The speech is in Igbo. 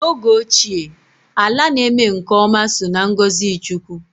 N'oge ochie, ala na-eme nke ọma so n'ngọzị chukwu